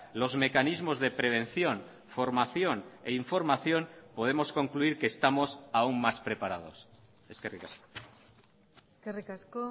los mecanismos de prevención formación e información podemos concluir que estamos aún más preparados eskerrik asko eskerrik asko